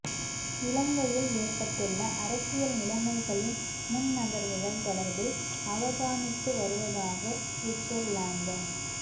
இலங்கையில் ஏற்பட்டுள்ள அரசியல் நிலைமைகளின் முன்நகர்வுகள் தொடர்பில் அவதானித்து வருவதாக சுவிட்ஸர்லாந்த